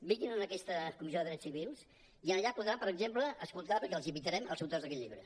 vin·guin en aquesta comissió de drets civils i allà podran per exemple escoltar perquè els invitarem els autors d’aquest llibre